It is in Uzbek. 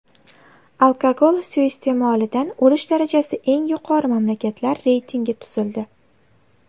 Alkogol suiiste’molidan o‘lish darajasi eng yuqori mamlakatlar reytingi tuzildi.